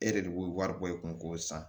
E yɛrɛ de b'o wari bɔ i kun k'o san